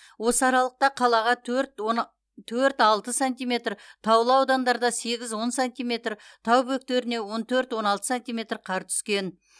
осы аралықта қалаға төрт алты сантиметр таулы аудандарда сегіз он сантиметр тау бөктеріне он төрт он алты сантиметр қар түскен